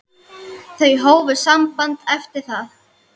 Þau hófu samband eftir það.